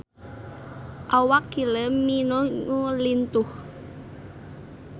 Awak Kylie Minogue lintuh